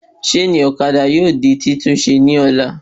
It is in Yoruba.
Ṣéènì ọ̀kadà yóò di titunṣe ní ọ̀la